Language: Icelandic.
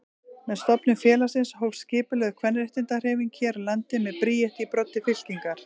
Með stofnun félagsins hófst skipulögð kvenréttindahreyfing hér á landi með Bríeti í broddi fylkingar.